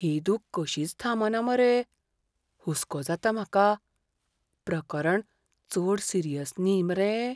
ही दूख कशीच थांबना मरे. हुस्को जाता म्हाका. प्रकरण चड सिरियस न्ही मरे?